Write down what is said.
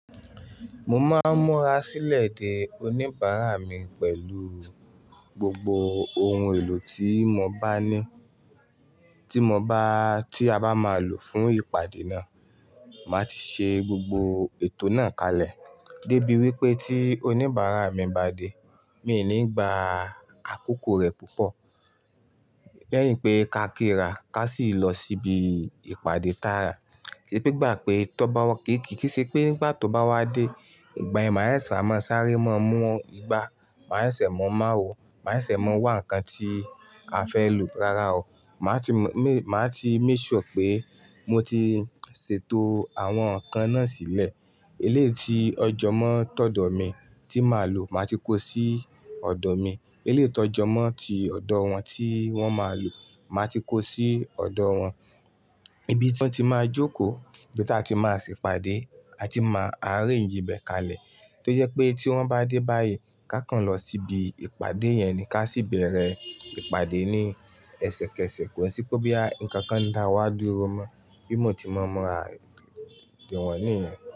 Mo máa ń múra sílẹ̀ de oníbàárà mi pẹ̀lú gbogbo ohun èlò tí mo bá ní, tí mo bá, tí a bá máa lò fún ìpàdé náà. Màá ti ṣe gbogbo ètò náà kalẹ̀. Dé bí wípé tí oníbàárà mi bá dé, mi ò ní gba àkókò rẹ̀ púpọ̀. Lẹ́yìn pé ká kí ra, ká sì lọ síbi ìpàdé tààrà. Pé gbà pé tó bá wà kì í ṣe pé nígbà tó bá wá dé, ìgbà yẹ̀n má ṣẹ ṣẹ̀ má sáré mọ, mú igbá, má ṣẹ ṣẹ̀ mọ má wọ, má ṣẹ ṣẹ̀ mọ wá nǹkan tí a fẹ́ lò rárá o. Màá ti mọ, má ti make sure pé mo ti ṣètò àwọn nǹkan náà sílẹ̀. Eléèti ọjọ̀ mọ́ tọ̀dọ̀ mi tí màá lò máa ti kó sí ọ̀dọ̀ mi. Eléèti ọjọ̀ mọ́ tí ọ̀dọ̀ wọn tí wọ́n máa lò máa ti kó sí ọ̀dọ̀ wọn. Ibi tí wọ́n ti máa jókòó, ibi tí a ti máa sì pàdé, a ti máa arrange ibẹ̀ kalẹ̀. Tó jẹ pé tí wọ́n bá dé báyìí, ká kan lọ síbi ìpàdé yẹn ni, ká sì bẹ̀rẹ̀ ìpàdé ní ẹsẹ̀kẹsẹ̀, kó sì pé bí àwọn nǹkan dáwá dúró mọ́, bí mo ti mọ ra ìwọ̀n niyẹn.